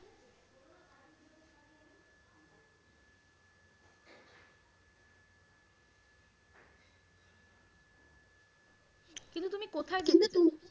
তুমি কোথায় গিয়েছিলে?